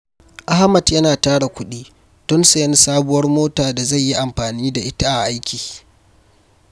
Ahmad yana tara kudi don sayen sabuwar mota da zai yi amfani da ita a aiki.